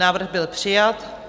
Návrh byl přijat.